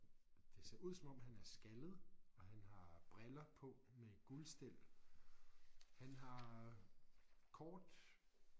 Det ser ud som om han er skaldet og han har briller på med guldstel. Han har kort